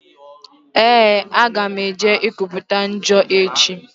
Ee, aga m eje ikwuputa njọ echi.